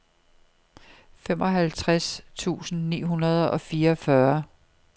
femoghalvtreds tusind ni hundrede og fireogfyrre